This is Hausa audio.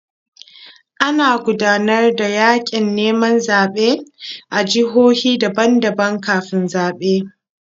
Ana gudanar da yaƙin neman zaɓe a jihohi daban-daban kafin zaɓe.